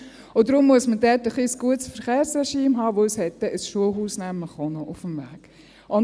Und darum muss man dort ein wenig ein gutes Verkehrsregime haben, weil es dann nämlich auch noch ein Schulhaus auf dem Weg hat.